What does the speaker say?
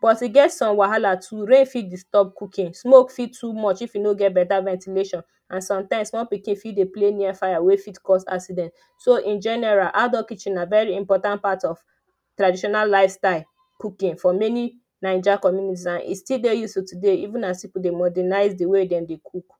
but e got some wahala too; rain fit disturb cookings, smoke fit too much if you no get better ventilation and sometimes small pikin fit dey play near fire wey fit cause accident. So in general, outdoor kitchen na very important part of traditional lifestyle cooking for many Naija communities and e still dey useful today even as people dey modernize the way dem dey cook